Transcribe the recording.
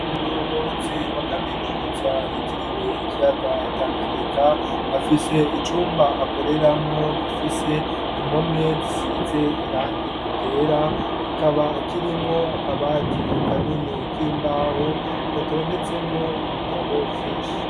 Umuyobozi wa kaminuza yitiriwe ikiyaga tanganyika afise icumba akoreramwo gifise impome zisize irangi ryera kikaba kirimwo akabati kanini k'imbaho gatondetsemwo ibitabo vyinshi.